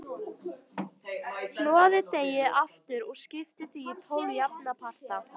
Hnoðið deigið aftur og skiptið því í tólf jafna parta.